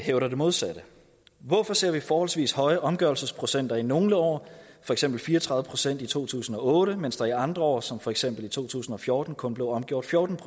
hævder det modsatte hvorfor ser vi forholdsvis høje omgørelsesprocenter i nogle år for eksempel fire og tredive procent i to tusind og otte mens der i andre år som for eksempel i to tusind og fjorten kun blev omgjort fjorten